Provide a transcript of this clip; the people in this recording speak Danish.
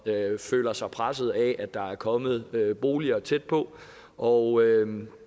føler sig presset af at der er kommet boliger tæt på og